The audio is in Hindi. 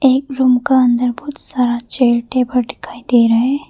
एक रूम का अंदर बहुत सारा चेयर टेबल दिखाई दे रहे है।